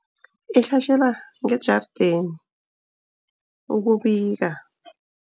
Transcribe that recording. Ihlatjelwa ngejardeni ukubika.